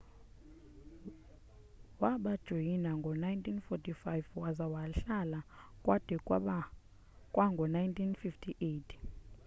wabajoyina ngo-1945 waza wahlala kwade kwango-1958